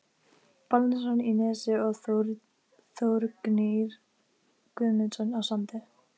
Baldvinsson í Nesi og Þórgnýr Guðmundsson á Sandi.